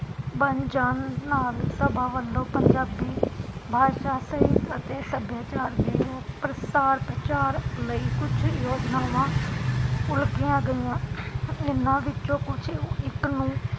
ਬਣ ਜਾਣ ਨਾਲ ਸਭਾ ਵਲੋਂ ਪੰਜਾਬੀ ਬਾਸ਼ਾ ਸਹਿਤ ਅਤੇ ਸੱਭਿਆਚਾਰ ਦੇ ਪ੍ਰਸਾਰ ਪ੍ਰਚਾਰ ਲਈ ਕੁਝ ਯੋਜਨਾਵਾਂ ਉਲਗੀਆਂ ਗਈਆ, ਇਹਨਾਂ ਵਿਚ ਕੁਝ ਇਕ ਨੂੰ